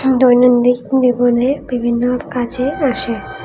দৈনন্দিন দিবনে বিভিন্ন কাজে আসে।